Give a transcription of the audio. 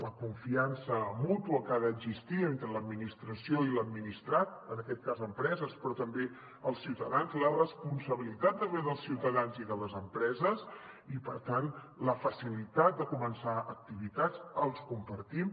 la confiança mútua que ha d’existir entre l’administració i l’administrat en aquest cas empreses però també els ciutadans la responsabilitat també dels ciutadans i de les empreses i per tant la facilitat de començar activitats la compartim